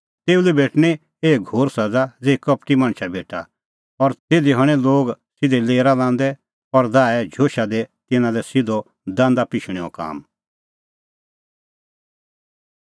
तेऊ लै भेटणीं एही घोर सज़ा ज़ेही कपटी मणछा भेटा और तिधी हणैं लोग सिधै लेरा लांदै और दाहे झोशा दी तिन्नां लै सिधअ दांदा पिशणैंओ काम